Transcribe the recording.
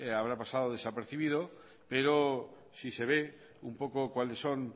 habrá pasada desapercibido pero si se ve un poco cuáles son